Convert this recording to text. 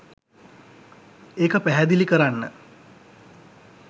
ඒක පැහැදිලි කරන්න